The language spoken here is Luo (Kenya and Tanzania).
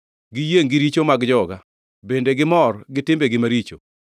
Giyiengʼ gi richo mag joga, bende gimor gi timbegi maricho.